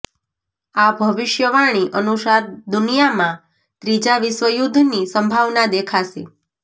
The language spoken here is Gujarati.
આ ભવિષ્ય વાણી અનુસાર દુનિયા માં ત્રીજા વિશ્વ યુદ્ધ ની સંભાવના દેખાશે